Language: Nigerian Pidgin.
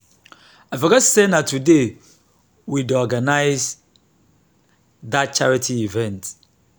i forget say na today we dey organize dat charity event